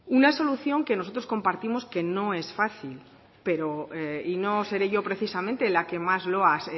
una solución que nosotros compartimos que no es fácil pero y no seré yo precisamente la que más loas